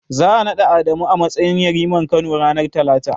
Za'a naɗa Adamu a matsayin yariman Kano, ranar Talata.